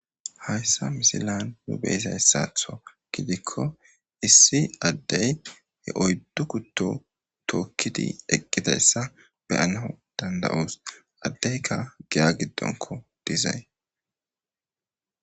Hayssa misilan nu beyiza hessaatho gidikko issi addey he oyddu kutto tookkidi eqqidayssa beyana danda'oos addeyka giya giddonko dizay.